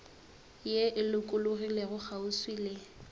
ye e lokologilego kgauswi le